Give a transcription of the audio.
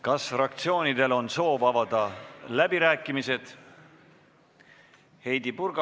Kas fraktsioonidel on soov avada läbirääkimised?